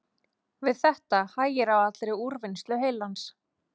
Við þetta hægir á allri úrvinnslu heilans.